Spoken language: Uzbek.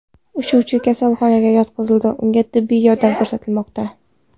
Uchuvchi kasalxonaga yotqizildi, unga tibbiy yordam ko‘rsatilmoqda.